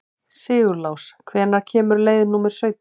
Sigurlás, hvenær kemur leið númer sautján?